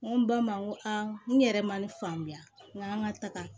N ko n ba ma n ko aa n ko n yɛrɛ ma ne faamuya n k'an ka taga